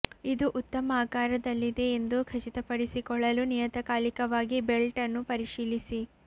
ಇದು ಉತ್ತಮ ಆಕಾರದಲ್ಲಿದೆ ಎಂದು ಖಚಿತಪಡಿಸಿಕೊಳ್ಳಲು ನಿಯತಕಾಲಿಕವಾಗಿ ಬೆಲ್ಟ್ ಅನ್ನು ಪರಿಶೀಲಿಸಿ